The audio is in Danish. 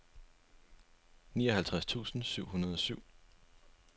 nioghalvtreds tusind syv hundrede og syv